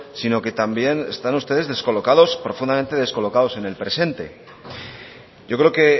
sino que también están ustedes descolocados profundamente descolocados en el presente yo creo que